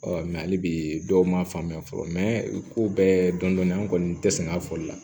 hali bi dɔw ma faamu fɔlɔ ko bɛɛ dɔndɔni an kɔni te sɛnɛ fɔli la